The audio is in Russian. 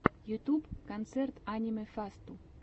ютьюб концерт аниме фасту